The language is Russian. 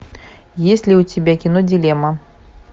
есть ли у тебя кино дилемма